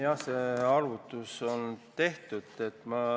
Jah, see arvutus on tehtud.